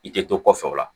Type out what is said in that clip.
I tɛ to kɔfɛ o la